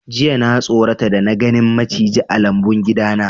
Jiya na sorata da na ganin maciji a lambun gida na.